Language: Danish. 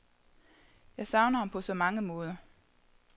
Jeg savner ham på så mange måder.